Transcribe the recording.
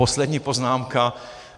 Poslední poznámka.